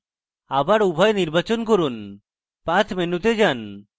আবার উভয় নির্বাচন করুন path মেনুতে যান